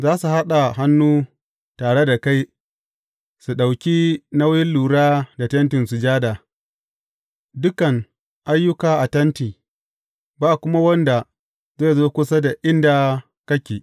Za su haɗa hannu tare da kai su ɗauki nauyin lura da Tentin Sujada, dukan ayyuka a Tenti, ba kuma wanda zai zo kusa da inda kake.